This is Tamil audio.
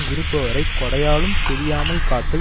இருப்பவரை கொடையாலும் பிரியாமல் காத்தல்